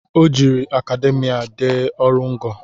O jiri akademia dee ọrụ ngo